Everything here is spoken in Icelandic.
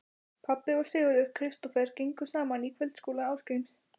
Pabbi og Sigurður Kristófer gengu saman í kvöldskóla Ásgríms